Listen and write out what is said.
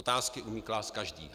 Otázky umí klást každý.